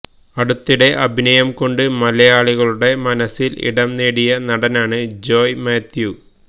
അടുത്തിടെ അഭിനയം കൊണ്ട് മലയാളികളുടെ മനസ്സിൽ ഇടം നേടിയ നടനാണ് ജോയ് മാത്യു